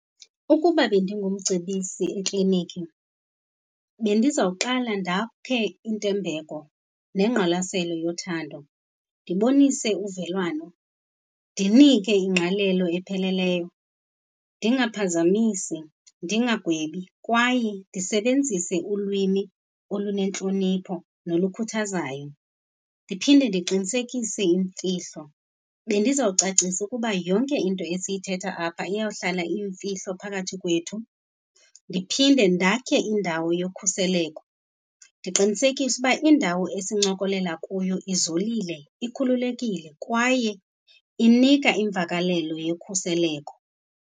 Ukuba bendingumcebisi ekliniki bendizawuqala ndakhe intembeko nengqwalaselo yothando, ndibonise uvelwano, ndinike ingqalelo epheleleyo, ndingaphazamisi, ndingagwebi kwaye ndisebenzise ulwimi olunentlonipho nolukhuthazayo. Ndiphinde ndiqinisekise imfihlo, bendizawucacisa ukuba yonke into esiyithetha apha iyawuhlala iyimfihlo phakathi kwethu. Ndiphinde ndakhe indawo yokhuseleko, ndiqinisekise uba indawo esincokolela kuyo izolile, ikhululekile kwaye inika imvakalelo yokhuseleko.